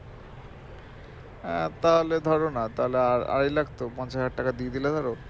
হ্যাঁ তাহলে ধরো না তাহলে আর আড়াই লাখ পঞ্চাশ হাজার টাকা দিয়ে দিলে ধরো